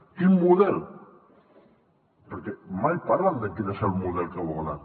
quin model perquè mai parlen de quin és el model que volen